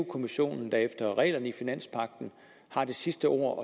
kommissionen der efter reglerne i finanspagten har det sidste ord